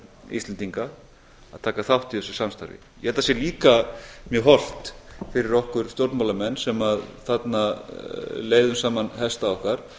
íslendinga að taka þátt í þessu samstarfi ég held að það sé líka mjög hollt fyrir okkur stjórnmálamenn sem þarna leiðum saman hesta okkar